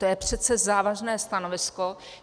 To je přece závažné stanovisko.